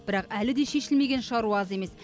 бірақ әлі де шешілмеген шаруа аз емес